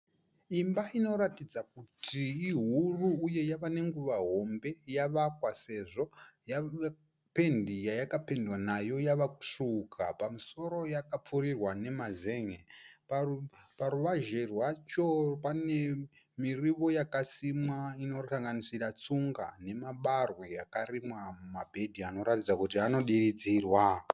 Imba inoratidza kuti ihuru uye yava nenguva hombe yavakwa sezvo pendi yayakapendwa nayo yava kusvuuka, pamusoro yakapfurirwa nemazen'e. Paruvazhe rwacho pane mirivo yakasimwa inosanganisira tsunga nemabarwe akarimwa mumabhedhi anoratidza kuti anodirizirwa.